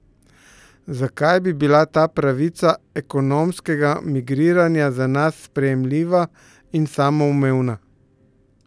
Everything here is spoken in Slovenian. Zakaj bi bila ta pravica ekonomskega migriranja za nas sprejemljiva in samoumevna?